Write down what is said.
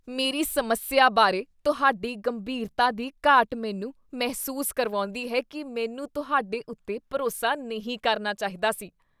ਮੇਰੀ ਸਮੱਸਿਆ ਬਾਰੇ ਤੁਹਾਡੀ ਗੰਭੀਰਤਾ ਦੀ ਘਾਟ ਮੈਨੂੰ ਮਹਿਸੂਸ ਕਰਵਾਉਂਦੀ ਹੈ ਕੀ ਮੈਨੂੰ ਤੁਹਾਡੇ ਉੱਤੇ ਭਰੋਸਾ ਨਹੀਂ ਕਰਨਾ ਚਾਹੀਦਾ ਸੀ।